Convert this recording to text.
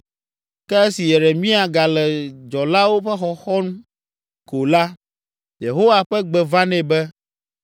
Ke esi Yeremia gale dzɔlawo ƒe xɔxɔm ko la, Yehowa ƒe gbe va nɛ be: